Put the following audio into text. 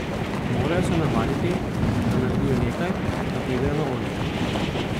Morajo se navaditi, da naredijo nekaj, da pridejo na oder.